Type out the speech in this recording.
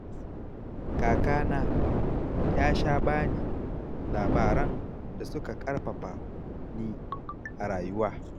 Kakana ya sha ba ni labaran da suka ƙarfafa ni a rayuwa.